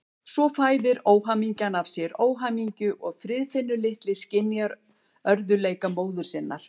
Svo fæðir óhamingjan af sér óhamingju og Friðfinnur litli skynjar örðugleika móður sinnar.